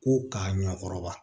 Ko k'a ɲɛkɔrɔba